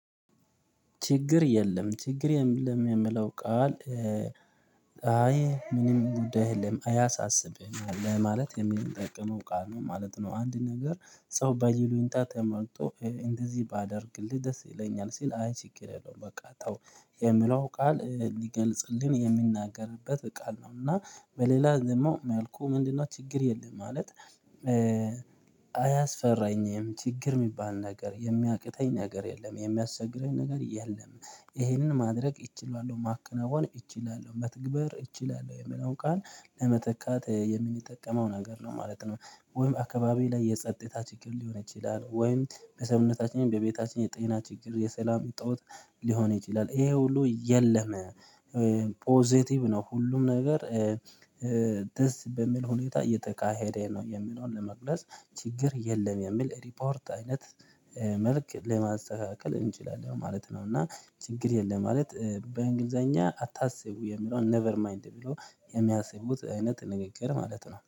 ችግር የለም ችግር የለም የሚለው ቃል አይ ምንም ጉዳይ የለም አያሳስብህም ለማለት የሚጠቅመው ቃል ነው ማለት ነው። አንድ ነገር ሰው በይሉኝታ ተመርቶ እንደዚህ ባደርግልህ ደስ ይለኛል ሲል አይ ችግር የለውም በቃ ተው የምለው ቃል ሊገልጽልን የሚናገርበት ቃል ነው። እና በሌላ ደግሞ መልኩ ምንድነው ችግር የለም ማለት? አያስፈራኝም ችግር የሚባል ነገር የሚያቅተኝ ነገር የለም የሚያስቸግረኝ ነገር የለም። ይሄንን ማድረግ እችላለሁ ማከናወን እችላለሁ መትግበር እችላለሁ የሚለውን ቃል ለመተካት የምንጠቀመው ነገር ነው ማለት ነው። ወይም አካባቢ ላይ የጸጥታ ችግር ሊሆን ይችላል ወይም በሰውታችን በቤታችን የጤና ችግር የሰላም እጦት ሊሆን ይችላል ይሄ ሁሉ የለም። ፖዘቲቭ ነው ሁሉም ነገር ደስ በሚል ሁኔታ እየተካሄደ ነው። የምለውን ለመግለጽ ችግር የለም የሚል ሪፖርት አይነት መልክ ለማስተካከል እንችላለን ማለት ነው። እና ችግር የለም ማለት በእንግሊዘኛ አታስቡ የሚለውን ኔቨር ማይንድ ብሎ የሚያስቡት አይነት ንግግር ማለት ነው